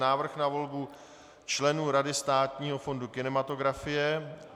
Návrh na volbu členů Rady Státního fondu kinematografie